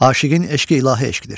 Aşiqin eşqi ilahi eşqdir.